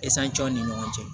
ni ɲɔgɔn cɛ